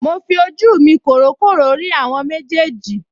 Mo fi ojú mi kòrókòró rí àwọn méjèèjì